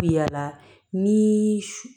Bi yala ni